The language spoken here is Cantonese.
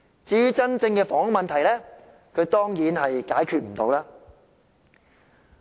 至於真正的房屋問題，他當然無法解決。